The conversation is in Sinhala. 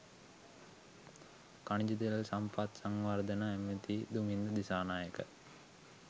ඛනිජ තෙල් සම්පත් සංවර්ධන ඇමැති දුමින්ද දිසානායක